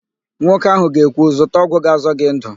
Nwoke ahụ ga-ekwu, "zụta ọgwụ ga-azọ gị ndụ"!